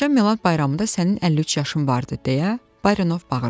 "Keçən Milad bayramında sənin 53 yaşın vardı," deyə Barinov bağırdı.